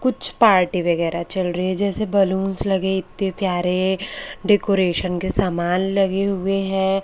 कुछ पार्टी वगैरा चल रही है जैसे बलूंस लगे इत्ते प्यारे डेकोरेशन के समान लगे हुए हैं।